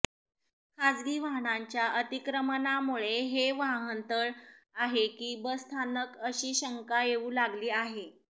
खासगी वाहनाच्या अतिक्रमणामुळे हे वाहनतळ आहे की बसस्थानक अशी शंका येऊ लागली आहे